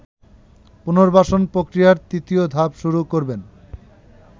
পুনর্বাসন প্রক্রিয়ার তৃতীয় ধাপ শুরু করবেন